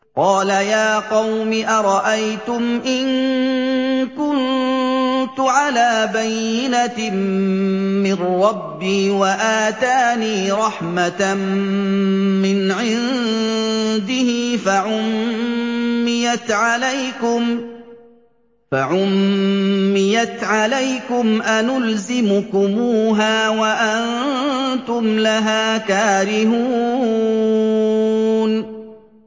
قَالَ يَا قَوْمِ أَرَأَيْتُمْ إِن كُنتُ عَلَىٰ بَيِّنَةٍ مِّن رَّبِّي وَآتَانِي رَحْمَةً مِّنْ عِندِهِ فَعُمِّيَتْ عَلَيْكُمْ أَنُلْزِمُكُمُوهَا وَأَنتُمْ لَهَا كَارِهُونَ